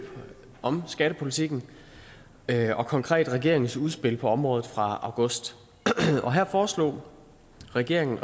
om skattepolitikken og konkret regeringens udspil på området fra august her foreslog regeringen